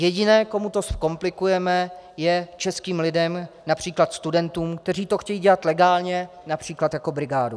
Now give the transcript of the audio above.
Jediné, komu to zkomplikujeme, je českým lidem, například studentům, kteří to chtějí dělat legálně, například jako brigádu.